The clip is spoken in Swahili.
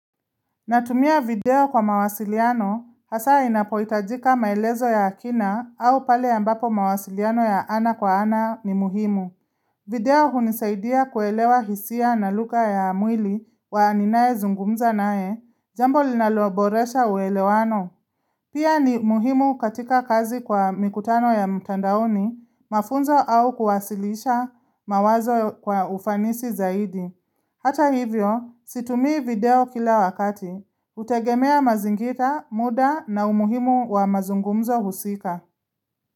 Natumia video kwa mawasiliano, hasa inapohitajika maelezo ya kina au pale ambapo mawasiliano ya ana kwa ana ni muhimu. Video hunisaidia kuelewa hisia na lugha ya mwili wa ninayezungumza naye, jambo linaloboresha uelewano. Pia ni muhimu katika kazi kwa mikutano ya mtandaoni, mafunzo au kuwasilisha mawazo kwa ufanisi zaidi. Hata hivyo, situmii video kila wakati. Utegemea mazingira, muda na umuhimu wa mazungumzo husika.